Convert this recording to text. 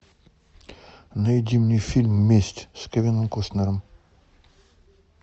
найди мне фильм месть с кевином костнером